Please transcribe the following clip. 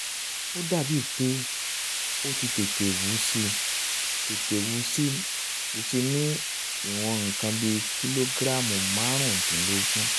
ó dàbíi pé ó ti tètè wú síi tètè wú síi ní ìwọ̀n nǹkan bíi kìlógíráàmù márùn-úndínlógún